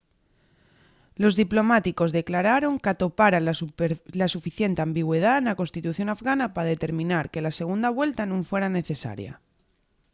los diplomáticos declararon qu’atoparan la suficiente ambigüedá na constitución afgana pa determinar que la segunda vuelta nun fuera necesaria